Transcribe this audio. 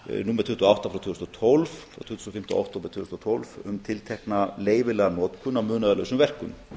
númer tuttugu og átta frá tvö þúsund og tólf frá tuttugasta og fimmta október tvö þúsund og tólf um tiltekna leyfilega notkun á munaðarlausum verkum